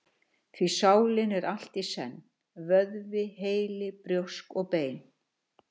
Því sálin er allt í senn: vöðvi, heili, brjósk og bein.